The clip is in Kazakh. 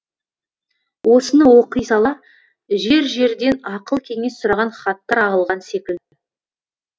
осыны оқи сала жер жерден ақыл кеңес сұраған хаттар ағылған секілді